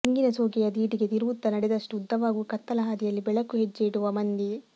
ತೆಂಗಿನಸೋಗೆಯ ದೀಟಿಗೆ ತಿರುವುತ್ತ ನಡೆದಷ್ಟೂ ಉದ್ದವಾಗುವ ಕತ್ತಲಹಾದಿಯಲಿ ಬೆಳಕು ಹೆಜ್ಜೆಯಿಡುವ ಮಂದಿ